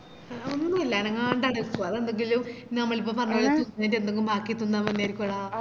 ഒന്നൂല്ല അനങ്ങാണ്ടടാ നിക്ക്‌ആ അത് എന്തെങ്കിലും നമ്മളിപ്പോ പറഞ്ഞപോലെ എന്തെങ്ങും ബാക്കി തിന്നാൻ വന്നെയറിക്കൂടാ